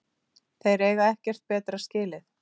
Þeir eiga ekkert betra skilið